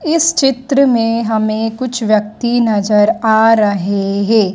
इस चित्र में हमें कुछ व्यक्ति नजर आ रहे हे।